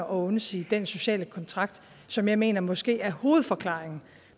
undsige den sociale kontrakt som jeg mener måske er hovedforklaringen